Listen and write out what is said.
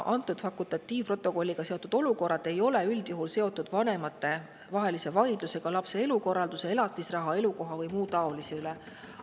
Fakultatiivprotokolliga seotud olukorrad ei ole üldjuhul seotud vanematevahelise vaidlusega lapse elukorralduse, elatisraha, elukoha või muu taolise üle.